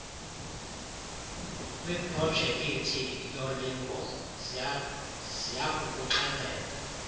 kwiprojekithi yolingo ziyakukuxelela